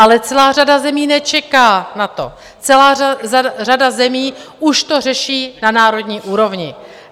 Ale celá řada zemí nečeká na to, celá řada zemí už to řeší na národní úrovni.